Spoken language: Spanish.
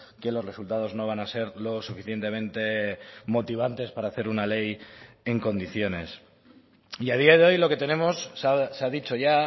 que los resultados no van a ser lo suficientemente motivantes para hacer una ley en condiciones y a día de hoy lo que tenemos se ha dicho ya